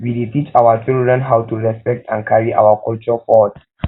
we dey teach our children how to respect and carry our culture forward